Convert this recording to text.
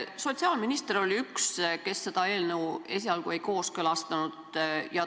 Sotsiaalminister oli üks, kes seda eelnõu esialgu ei kooskõlastanud.